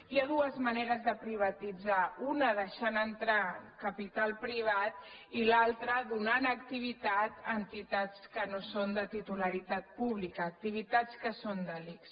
hi ha dues maneres de privatitzar una deixant entrar capital privat i l’altra donant acti·vitat a entitats que no són de titularitat pública ac·tivitats que són de l’ics